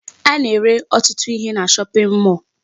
A na-ere ọtụtụ ihe na shopping mall